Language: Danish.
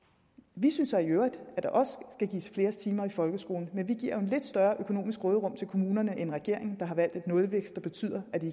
vi synes så i øvrigt at der også skal gives flere timer i folkeskolen men vi giver jo et lidt større økonomisk råderum til kommunerne end regeringen gør har valgt en nulvækst der betyder at de